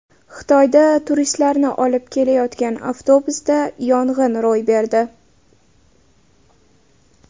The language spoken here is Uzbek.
Xitoyda turistlarni olib ketayotgan avtobusda yong‘in ro‘y berdi.